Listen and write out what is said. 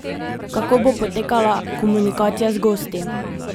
Kako bo potekala komunikacija z gosti?